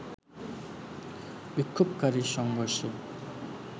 বিক্ষোভকারীর সংঘর্ষে